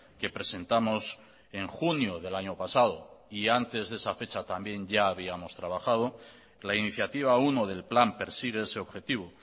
que presentamos en junio del año pasado y antes de esa fecha también ya habíamos trabajado la iniciativa uno del plan persigue ese objetivo